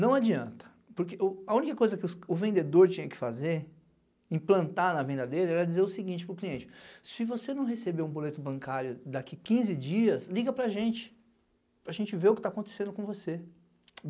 Não adianta, porque a única coisa que o vendedor tinha que fazer, implantar na venda dele, era dizer o seguinte para o cliente, se você não receber um boleto bancário daqui quinze dias, liga para a gente, para a gente ver o que tá acontecendo com você.